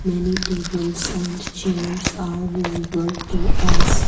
Many tables and chairs are visible to us.